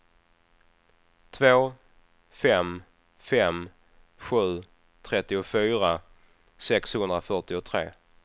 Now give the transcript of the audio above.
två fem fem sju trettiofyra sexhundrafyrtiotre